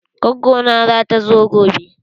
Gwaggo na zata zo gobe.